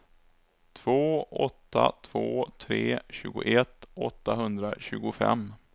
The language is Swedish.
två åtta två tre tjugoett åttahundratjugofem